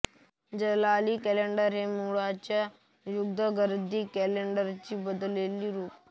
जलाली calendar हे मुळच्या यझ्दगेर्दी कॅलेंडरचे बदलेले रूप